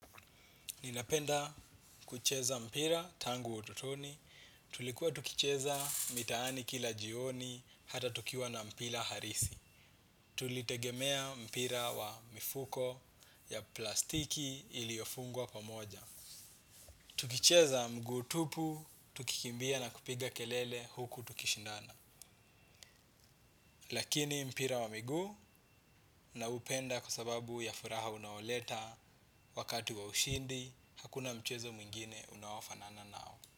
Ninapenda kucheza mpira tangu ututoni, tulikuwa tukicheza mitaani kila jioni, hata tukiwa na mpira halisi. Tulitegemea mpira wa mifuko ya plastiki iliofungwa kwa moja. Tukicheza mguu tupu, tukikimbia na kupiga kelele huku tukishindana. Lakini mpira wa miguu naupenda kwa sababu ya furaha unaoleta wakati wa ushindi, hakuna mchezo mwingine unaofanana nao.